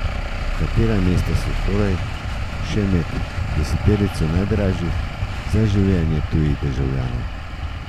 Katera mesta so torej še med deseterico najdražjih za življenje tujih državljanov?